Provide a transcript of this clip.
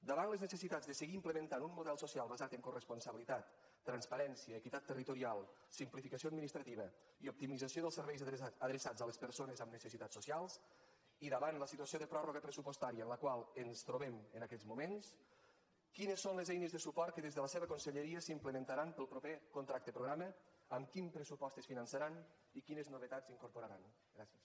davant les necessitats de seguir implementant un model social basat en coresponsabilitat transparència equitat territorial simplificació administrativa i optimització dels serveis adreçats a les persones amb necessitats socials i davant la situació de pròrroga pressupostària en la qual ens trobem en aquests moments quines són les eines de suport que des de la seva conselleria s’implementaran per al proper contracte programa amb quin pressupost es finançaran i quines novetats incorporaran gràcies